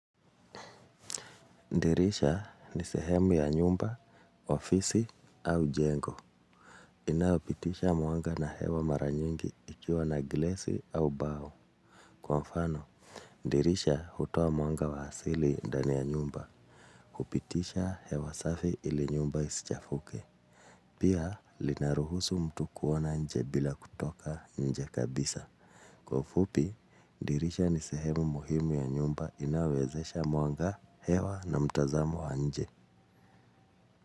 Ndirisha ni sehemu ya nyumba, ofisi au jengo. Inaopitisha mwanga na hewa maranyingi ikiwa na glesi au bao. Kwa mfano, ndirisha hutoa mwanga wa hasili ndani ya nyumba. Kupitisha hewa safi ili nyumba isichafuke. Pia, linaruhusu mtu kuona nje bila kutoka nje kabisa. Kwa ufupi, ndirisha ni sehemu muhimu ya nyumba inawezesha mwanga hewa na mtazamo wa nje.